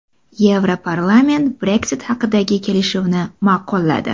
Yevroparlament Brexit haqidagi kelishuvni ma’qulladi.